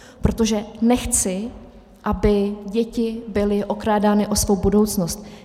Protože nechci, aby děti byly okrádány o svou budoucnost.